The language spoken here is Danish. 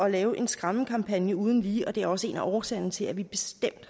at lave en skræmmekampagne uden lige og det også en af årsagerne til at vi